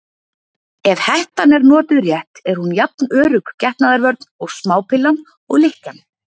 Ef hettan er notuð rétt er hún jafn örugg getnaðarvörn og smápillan og lykkjan.